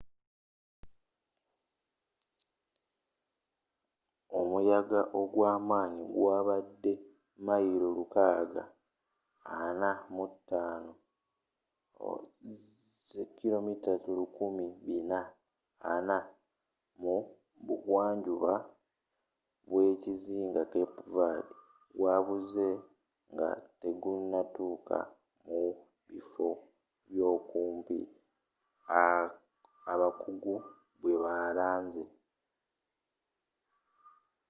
omuyagga ogwamanyi gwabadde mailo lukaaga ana mu tano 645 mayilo 1040 kmmu bugwanjuba bwekizinga cape verde gwabuzze nga tegunatukka mu bifo byokumpi abakuggu bwebalanze